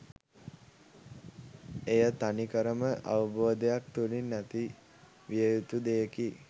එය තනිකර ම අවබෝධයක් තුළින් ඇති විය යුතු දෙයකි